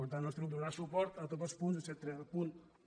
per tant el nostre grup donarà suport a tots els punts excepte al punt un